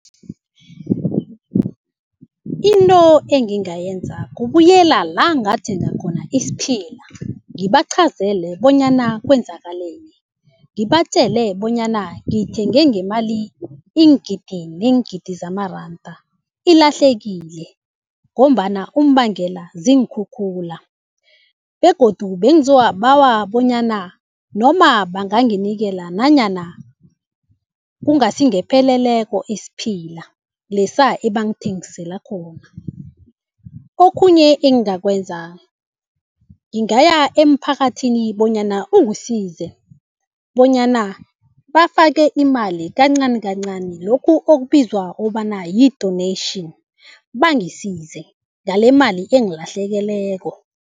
Into engingayenza kubuyela la ngathenga khona isiphila, ngibaqhazele bonyana kwenzakaleni. Ngibatjele bonyana ngithenge ngemali iingidi neengidi zamaranda ilahlekile ngombana umbangela ziinkhukhula, begodu bengizobabawa bonyana noma banganginikela nanyana kungasingepheleleko isiphila lesa ebangithengisela khona. Okhunye engakwenza ngingaya emphakathini bonyana ungisize bonyana bafake imali kancani kancani lokhu okubizwa ukobana yi-donation bangisize ngalemali engilahlekeleko.